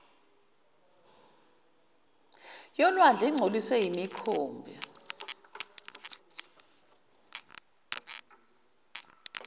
yolwandle ingcoliswe yimikhumbi